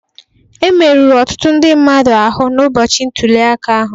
Emerụrụ ọtụtụ ndị mmadụ ahụ n'ụbọchị ntulịaka ahụ